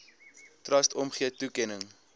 trust omgee toekenning